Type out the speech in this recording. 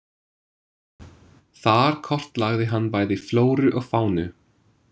Þar kortlagði hann bæði flóru og fánu.